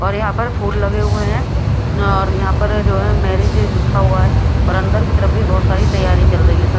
और यहां पर फूल लगे हुए हैं और यहां पर जो है मैरिज लिखा हुआ है और अंदर की तरफ भी बहुत सारी तैयारी चल रही है सा--